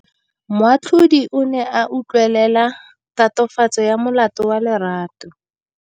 Moatlhodi o ne a utlwelela tatofatsô ya molato wa Lerato.